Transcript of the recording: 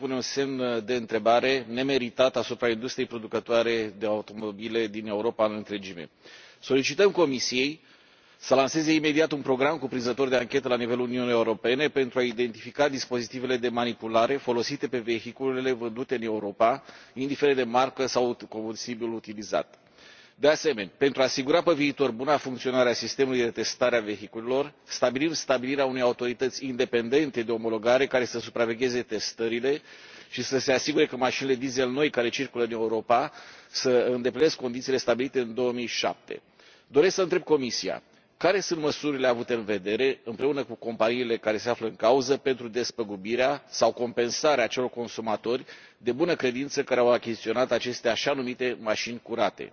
Doamnă președintă, doamnă comisar Bieńkowska, din păcate, problema măsurării nivelului de emisii în sectorul autoturismelor pune un semn de întrebare nemeritat asupra industriei producătoare de automobile din Europa în întregime. Solicităm Comisiei să lanseze imediat un program cuprinzător de anchetă la nivelul Uniunii Europene pentru a identifica dispozitivele de manipulare folosite pe vehiculele vândute în Europa, indiferent de marcă sau combustibilul utilizat. De asemenea, pentru a asigura pe viitor buna funcționare a sistemului de testare a vehiculelor, stabilim stabilirea unei autorități independente de omologare care să supravegheze testările și să se asigure că mașinile diesel noi care circulă în Europa îndeplinesc condițiile stabilite în 2007. Doresc să întreb Comisia care sunt măsurile avute în vedere împreună cu companiile care se află în cauză pentru despăgubirea sau compensarea acelor consumatori de bună credință care au achiziționat aceste așa numite mașini curate.